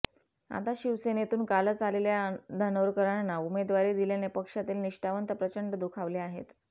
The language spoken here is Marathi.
आता शिवसेनेतून कालच आलेल्या धानोरकरांना उमेदवारी दिल्याने पक्षातील निष्ठावंत प्रचंड दुखावलेले आहेत